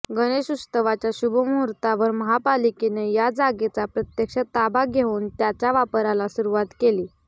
गणेशोत्सवाच्या शुभमुहूर्तावर महापालिकेने या जागेचा प्रत्यक्ष ताबा घेऊन त्याच्या वापराला सुरुवात केली